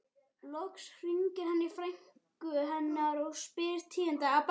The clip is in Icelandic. Loks hringir hann í frænku hennar og spyr tíðinda.